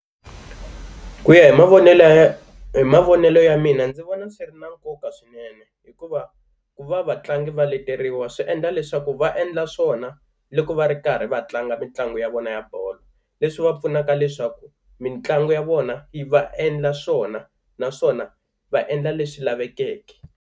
Ku ya hi mavonelo ya hi mavonelo ya mina ndzi vona swi ri na nkoka swinene, hikuva ku va vatlangi va leteriwa swi endla leswaku va endla swona loko va ri karhi va tlanga mitlangu ya vona ya bolo, leswi va pfunaka leswaku mitlangu ya vona yi va endla swona naswona va endla leswi lavekeke.